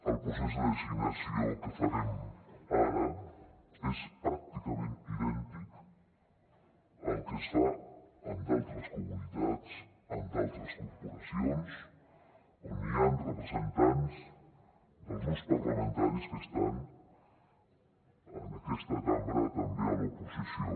el procés de designació que farem ara és pràcticament idèntic al que es fa en d’altres comunitats en d’altres corporacions on hi han representants dels grups parlamentaris que estan en aquesta cambra també a l’oposició